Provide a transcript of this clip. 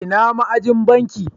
Ina ma'ajin banki?